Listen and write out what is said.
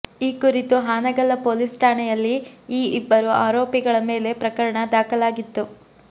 ಈ ಕುರಿತು ಹಾನಗಲ್ಲ ಪೊಲೀಸ್ ಠಾಣೆಯಲ್ಲಿ ಈ ಇಬ್ಬರು ಆರೋಪಿಗಳ ಮೇಲೆ ಪ್ರಕರಣ ದಾಖಲಾಗಿತ್ತು